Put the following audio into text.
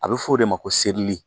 A bɛ f'o de ma ko sedili.